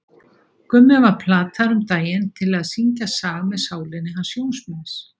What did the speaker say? Gummi var plataður um daginn til að syngja lag með Sálinni hans Jóns míns.